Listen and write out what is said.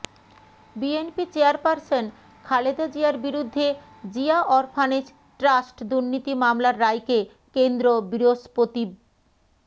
BNP chairperson Khaleda জিয়ার বিরুদ্ধে Zia orphanage trust দুর্নীতি মামলার রায়কে কেন্দ্র বৃহস্পতিব